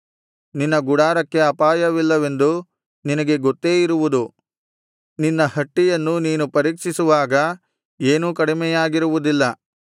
ನಿನ್ನ ಗುಡಾರಕ್ಕೆ ಅಪಾಯವಿಲ್ಲವೆಂದು ನಿನಗೆ ಗೊತ್ತೇ ಇರುವುದು ನಿನ್ನ ಹಟ್ಟಿಯನ್ನು ನೀನು ಪರೀಕ್ಷಿಸುವಾಗ ಏನೂ ಕಡಿಮೆಯಾಗಿರುವುದಿಲ್ಲ